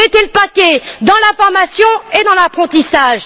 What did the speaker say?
Donc, mettez le paquet sur la formation et l'apprentissage.